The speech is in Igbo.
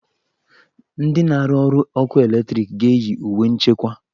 Ndị na-arụ ọrụ ọkụ eletriki ga-eyi uwe nchekwa.